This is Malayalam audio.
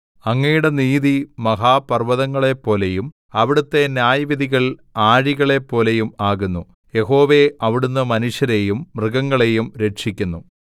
അങ്ങയുടെ നീതി മഹാപർവ്വതങ്ങളെപ്പോലെയും അവിടുത്തെ ന്യായവിധികൾ ആഴികളെപ്പോലെയും ആകുന്നു യഹോവേ അവിടുന്ന് മനുഷ്യരെയും മൃഗങ്ങളെയും രക്ഷിക്കുന്നു